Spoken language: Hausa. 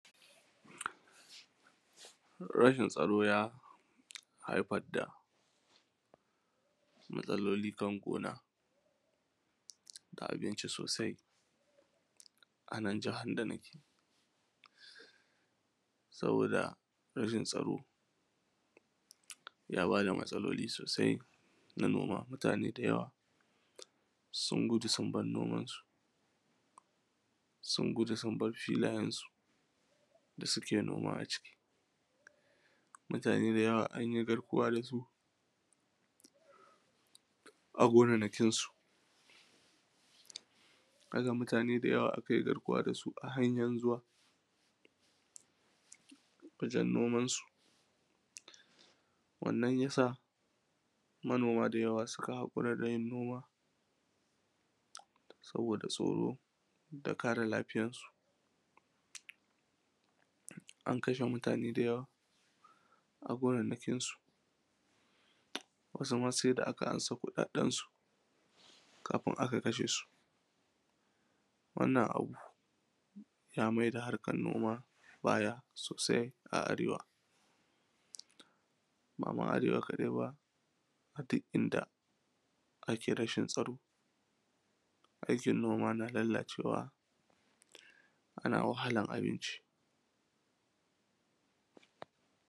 Rashin tsaro ya haifa da matsaloli kan gona a abinci sosai a nan jahar da nake, sabo:da rashin tsaro ya bada matsaloli sauri na noma matuku da yawa sun gudu sun bar noman su, sun gudu sun bar filayensu da suke noma a cikin matuƙu da yawa an yi garkuwa da su a gonannakinsu, haka matuƙa da yawa aka yi garkuwa da su a hanyan zuwa wajen nomansu, wannan yasa manoma da yawa suka haƙura da yin noma saboda tsoro da kare lafiyansu, an kashe mutane da yawa a gonannakin su, wasu ma sai da aka ansa kuɗaɗensu kafun a kashe su, wannan abu yamai da harkan noma baya sosai a arewa ba ma arewa kadai ba a duk in da ake rashin tsaro aikin noma na lallacewa ana wahalar abinci.